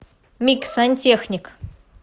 мик сантехник